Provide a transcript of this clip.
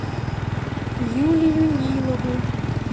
юлию нилову